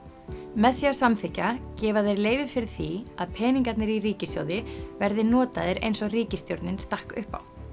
með því að samþykkja gefa þeir leyfi fyrir því að peningarnir í ríkissjóði verði notaðir eins og ríkisstjórnin stakk upp á